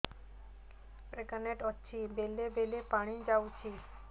pregnant ଅଛି ବେଳେ ବେଳେ ପାଣି ଯାଉଛି